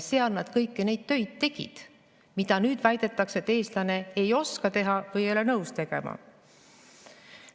Seal tegid nad kõiki neid töid, mille kohta nüüd väidetakse, et eestlane ei oska neid teha või ei ole nõus tegema.